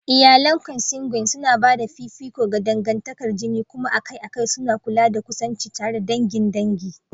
Iyalan Consanguine suna ba da fifiko ga dangantakar jini kuma akai-akai suna kula da kusanci tare da dangin dangi.